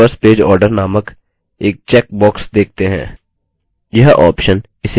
print in reverse page order नामक एक check box देखते हैं